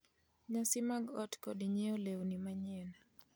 nyasi mag ot kod nyiewo lewni manyien,